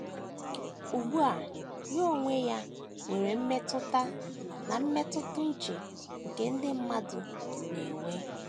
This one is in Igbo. Ugbu a ya onwe ya nwere mmetụta na mmetụta uche nke ndị mmadụ na - enwe.